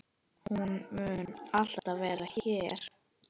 Hún mun alltaf vera hér.